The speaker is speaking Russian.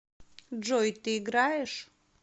джой ты играешь